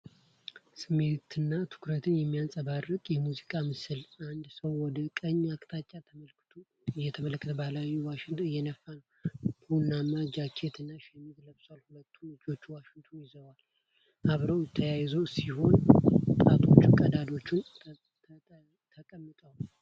ስሜትና ትኩረት የሚንጸባረቅበት የሙዚቀኛ ምስል። አንድ ሰው ወደ ቀኝ አቅጣጫ እየተመለከተ ባህላዊ ዋሽንት እየነፋ ነው። ቡናማ ጃኬት እና ሸሚዝ ለብሷል። ሁለቱም እጆቹ ዋሽንቱን ይዘው አብረው የተያያዙ ሲሆን ጣቶቹ ቀዳዳዎቹ ላይ ተቀምጠዋል።